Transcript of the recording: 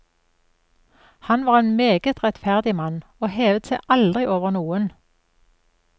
Han var en meget rettferdig mann, og hevet seg aldri over noen.